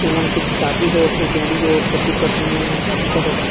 एमन के शादी होत हे जोड़ी जो पति-पत्नी शादी करत हे।